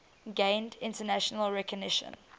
gained international recognition